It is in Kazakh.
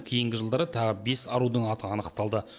кейінгі жылдары тағы бес арудың аты анықталды